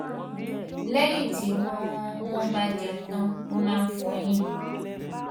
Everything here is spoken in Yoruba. lẹyìn tí wọn wọn bá jẹun tán wọn máa ń fọyín